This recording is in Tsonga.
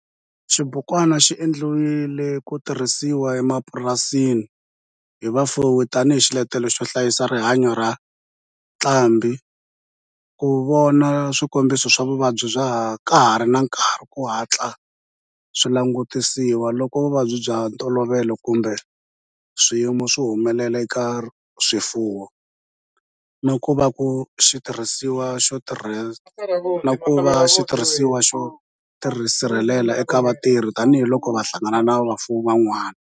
Xibukwana xi endliwe ku tirhisiwa emapurasini hi vafuwi tani hi xiletelo xo hlayisa rihanyo ra ntlhambhi, ku vona swikombiso swa vuvabyi ka ha ri na nkarhi ku hatla swi langutisiwa loko vuvabyi bya ntolovelo kumbe swiyimo swi humelela eka swifuwo, na ku va xitirhisiwa xo tirhiseka eka vatirhi tani hi loko va hlangana na vafuwi van'wana.